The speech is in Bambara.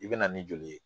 I bɛ na ni joli ye